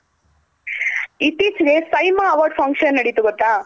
ಇತ್ತೀಚಿಗೆ SIIMA Awards Function ನಡಿತ್ ಗೊತ್ತ.